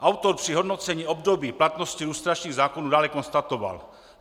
Autor při hodnocení období platnosti lustračních zákonů dále konstatoval: